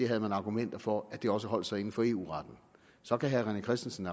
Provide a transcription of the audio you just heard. havde argumenter for at det også holdt sig inden for eu retten så kan herre rené christensen